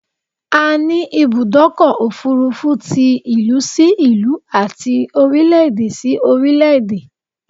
A ni Ibùdọ́kọ̀ òfurufú ti ìlú si ìlú àti orílẹ̀ èdè si orílẹ̀ èdè